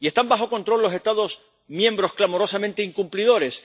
¿Y están bajo control los Estados miembros clamorosamente incumplidores?